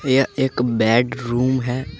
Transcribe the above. यह एक बेडरूम है।